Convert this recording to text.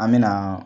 An me na